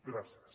gràcies